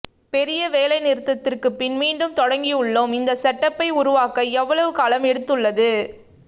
பெரிய வேலை நிறுத்தத்திற்கு பின் மீண்டும் தொடங்கியுள்ளோம் இந்த செட்டப்பை உருவாக்க இவ்வளவு காலம் எடுத்துள்ளது